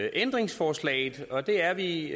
ændringsforslaget og det er vi